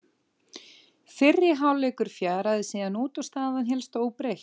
Fyrri hálfleikur fjaraði síðan út og staðan hélst óbreytt.